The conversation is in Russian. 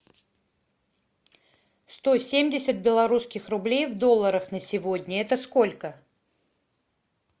сто семьдесят белорусских рублей в долларах на сегодня это сколько